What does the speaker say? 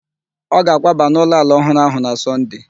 Ọ ga-akwaba n'ụlọ ala ọhụrụ ahụ na Sọnde